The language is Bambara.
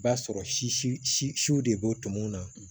I b'a sɔrɔ si si siw de b'o tɔmɔ na